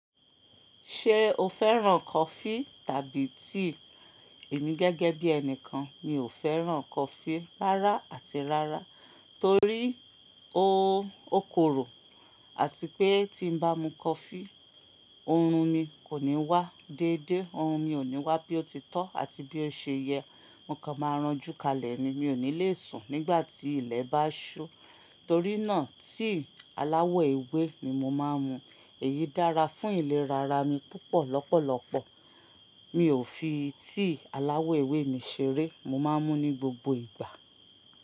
Ṣé o fẹ́ràn coffee tàbí tea? Èmi gẹ́gẹ́ bí ẹni kan, mi ò fẹ́ràn coffee rárá àti rárá torí ó korò àti pé tí n bá mu coffee, oorun mi kò ní wá déédéé. Oorun mi ò ní wá bí ó ti tọ́ àti bí ó ṣe yẹ. Mo kan máa ranjú kalẹ̀ ni. Mi ò ní le sùn nígbà tí ilẹ̀ bá ṣú. Torí náà, tea aláwọ̀ ewé ni mo máa ń mu. Èyí dára fún ìlera ara mi púpọ̀ lọ́pọ̀lọ́pọ̀. Mi ò fi tea aláwọ̀ ewé mi ṣeré. Mo máa ń mú ní gbogbo ìgbà.